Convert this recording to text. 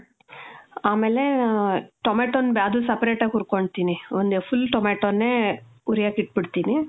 ಆಮೇಲೇ, ಆ, tomato ನ್ ಅದನ್ separate ಆಗ್ ಹುರ್ಕೊಂತೀನಿ. ಒಂದ್ full tomatoನೇ ಹುರಿಯಕ್ಕ್ ಇಟ್ಬಿಡ್ತೀನಿ.